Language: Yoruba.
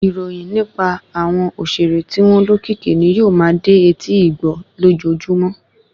Ìròyìn nipa àwọn òṣèré tí wọn lókìkì ni yóò ma dé etí igbọ́ lójojúmọ́